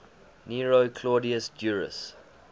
nero claudius drusus